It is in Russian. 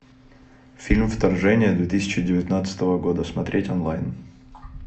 фильм вторжение две тысячи девятнадцатого года смотреть онлайн